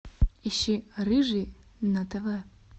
ищи рыжий на тв